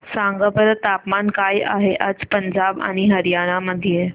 सांगा बरं तापमान काय आहे आज पंजाब आणि हरयाणा मध्ये